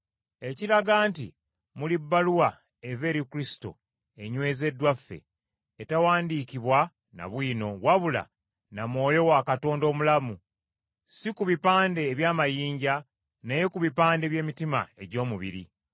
ekiraga nti muli bbaluwa eva eri Kristo, enywezeddwa ffe, etaawandiikibwa na bwino, wabula na Mwoyo wa Katonda omulamu, si ku bipande eby’amayinja naye ku bipande by’emitima egy’omubiri.